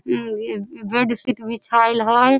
इम्म bedsheet बिछायल हई।